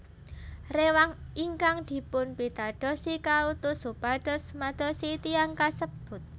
Rewang ingkang dipunpitadosi kautus supados madosi tiyang kasebut